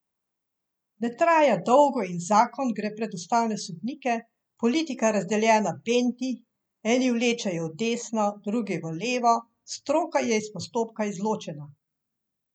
Ne traja dolgo in zakon gre pred ustavne sodnike, politika razdeljena benti, eni vlečejo v desno, drugi v levo, stroka je iz postopka izločena.